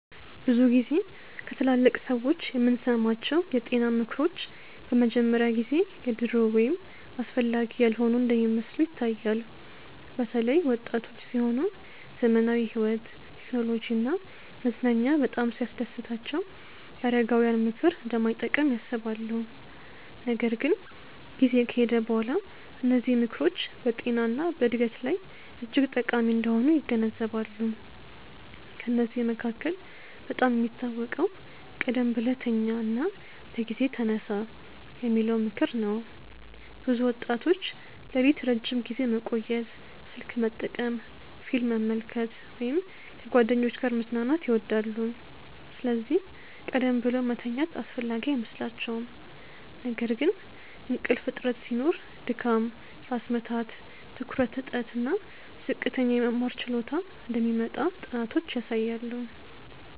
ብዙ ጊዜ ከትላልቅ ሰዎች የምንሰማቸው የጤና ምክሮች በመጀመሪያ ጊዜ የድሮ ወይም አስፈላጊ ያልሆኑ እንደሚመስሉ ይታያል። በተለይ ወጣቶች ሲሆኑ ዘመናዊ ሕይወት፣ ቴክኖሎጂ እና መዝናኛ በጣም ሲያስደስታቸው የአረጋውያን ምክር እንደማይጠቅም ያስባሉ። ነገር ግን ጊዜ ከሄደ በኋላ እነዚህ ምክሮች በጤና እና በዕድገት ላይ እጅግ ጠቃሚ እንደሆኑ ይገነዘባሉ። ከእነዚህ መካከል በጣም የሚታወቀው “ቀደም ብለህ ተኛ እና በጊዜ ተነሳ” የሚለው ምክር ነው። ብዙ ወጣቶች ሌሊት ረዥም ጊዜ መቆየት፣ ስልክ መጠቀም፣ ፊልም መመልከት ወይም ከጓደኞች ጋር መዝናናት ይወዳሉ፤ ስለዚህ ቀደም ብለው መተኛት አስፈላጊ አይመስላቸውም። ነገር ግን እንቅልፍ እጥረት ሲኖር ድካም፣ ራስ ምታት፣ ትኩረት እጥረት እና ዝቅተኛ የመማር ችሎታ እንደሚመጣ ጥናቶች ያሳያሉ